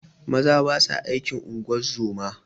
Maza basa aikin ungozoma